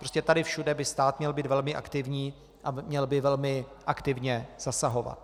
Prostě tady všude by stát měl být velmi aktivní a měl by velmi aktivně zasahovat.